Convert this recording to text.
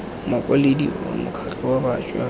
mokwaledi wa mokgatlho wa bašwa